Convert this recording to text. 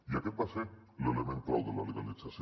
i aquest va ser l’element clau de la legalització